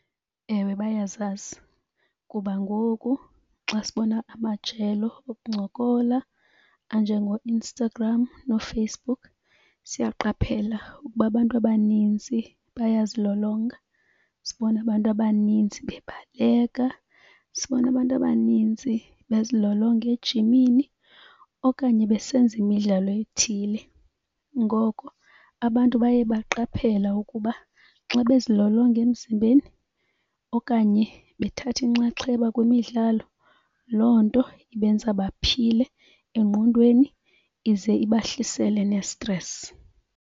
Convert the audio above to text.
Ewe, bayasazi kuba ngoku xa sibona amajelo okuncokola anjengooInstagram nooFacebook, siyaqaphela ukuba abantu abanintsi bayazilolonga. Sibona abantu abanintsi bebaleka, sibona abantu abanintsi bezilolonge ejimini okanye besenza imidlalo ethile. Ngoko abantu baye baqaphela ukuba xa bezilolonga emzimbeni okanye bethatha inxaxheba kwimidlalo loo nto ibenza baphile engqondweni ize ibahlisele nestresi.